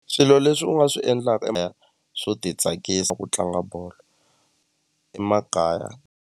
Swilo leswi u nga swi endlaka swo ti tsakisa ku tlanga bolo emakaya.